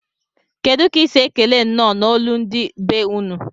Kedu ka isi ekele nnọ na olu ndi be unu?